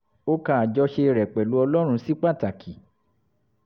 ó ka àjọṣe rẹ̀ pẹ̀lú ọlọ́run sí pàtàkì